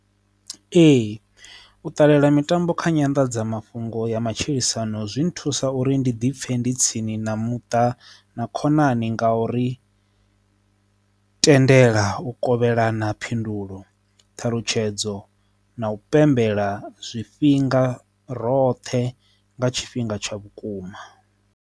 Ee, u ṱalela mitambo kha nyanḓadzamafhungo ya matshilisano zwi thusa uri ndi dipfe ndi tsini na muṱa na khonani ngauri tendela u kovhelana phindulo thalutshedzo na u pembela zwifhinga roṱhe nga tshifhinga tsha vhukuma.